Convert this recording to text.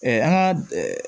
an ka